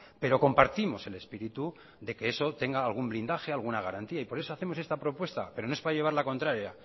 pero compartimos el espíritu de que eso tenga algún blindaje alguna garantía por eso hacemos esta propuesta pero no es para llevar la contraria